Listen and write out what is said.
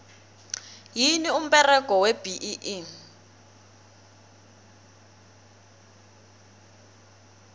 yini umberego webee